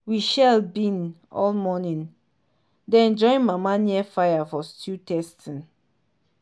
we shell bean all morning then join mama near fire for stew tasting.